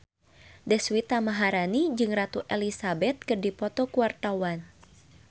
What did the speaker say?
Deswita Maharani jeung Ratu Elizabeth keur dipoto ku wartawan